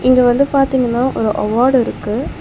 இங்க வந்து பாத்தீங்கனா ஒரு அவார்ட் இருக்கு.